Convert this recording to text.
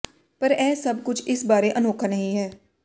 ਪਰ ਇਹ ਸਭ ਕੁਝ ਇਸ ਬਾਰੇ ਅਨੋਖਾ ਨਹੀਂ ਹੈ